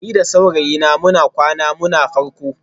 Ni da saurayina muna kwanan mu na farko